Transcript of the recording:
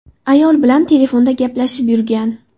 Ayol bilan telefonda gaplashib yurgan.